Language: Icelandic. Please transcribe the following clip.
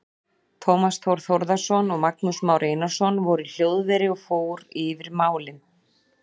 Tómas Þór Þórðarson og Magnús Már Einarsson voru í hljóðveri og fór yfir málin.